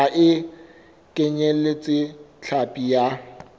ha e kenyeletse hlapi ya